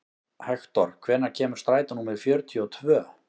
Hektor, hvenær kemur strætó númer fjörutíu og tvö?